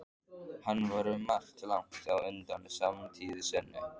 Hann var um margt langt á undan samtíð sinni.